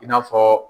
I n'a fɔ